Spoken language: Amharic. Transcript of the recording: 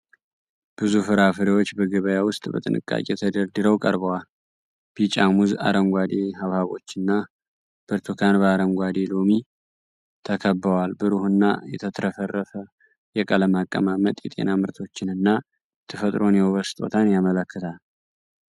ብዙ ፍራፍሬዎች በገበያ ውስጥ በጥንቃቄ ተደርድረው ቀርበዋል። ቢጫ ሙዝ፣ አረንጓዴ ሐብሐቦችና ብርቱካን በአረንጓዴ ሎሚ ተከበዋል። ብሩህና የተትረፈረፈ የቀለም አቀማመጥ የጤና ምርቶችን እና የተፈጥሮን የውበት ስጦታን ያመለክታል።